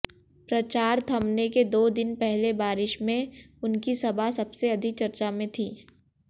प्रचार थमने के दो दिन पहले बारिश में उनकी सभा सबसे अधिक चर्चा में थी